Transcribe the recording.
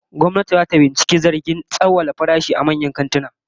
Gwamnati zata binciki zargin tsawwala farashi a manyan kantuna